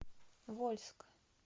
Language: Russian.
вольск